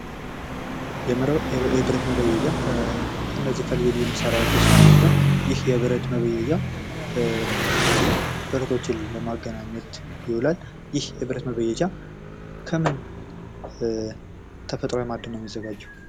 የብረት መበየጃ ከነዚህ ከልዩ ልዩ መሳርያዎች አንዱ ሲሆን ይህ የብረት መበየጃ የተለያዩ ብረቶችን ለማገናኘት ይዉላል። ይህ የብረት መበየጃ ከምን ተፈጥሯዊ ማአድን ነው የሚዘጋጀው?